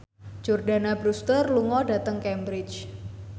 Jordana Brewster lunga dhateng Cambridge